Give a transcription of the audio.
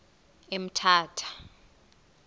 emthatha